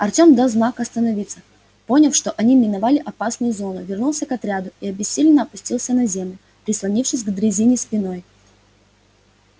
артём дал знак остановиться поняв что они миновали опасную зону вернулся к отряду и обессиленно опустился на землю прислонившись к дрезине спиной